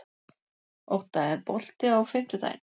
Ótta, er bolti á fimmtudaginn?